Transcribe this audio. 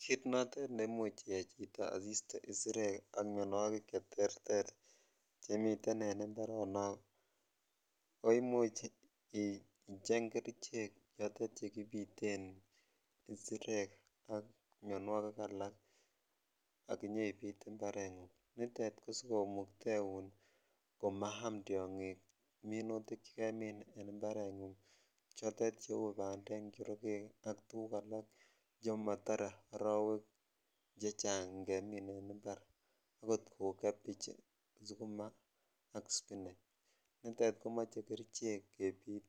Kiit nemuche iyai chito asiste isirek ak mionwokik cheterter chemiten en imbaronok ko imuch icheng kerichek chotet chekibiten isirek ak mionwokik alak ak inyoibit imbarengung, nitet ko sikomukteun komaam tiongik minutik chekaam en imbarengung chotet cheu bandek njorokek ak tukuk alak chemotore orowek chechang ingemin en imbar akot kouu cabbage, sukuma ak sipineg, nitet komoche kerichek kebit